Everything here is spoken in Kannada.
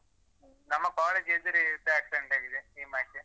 ನಮ್ಮ college ಎದುರೇ ಇವತ್ತು accident ಆಗಿದೆ ನಿಮ್ಮಾಚೆ.